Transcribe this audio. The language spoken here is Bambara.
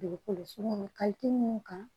ka teli mun kan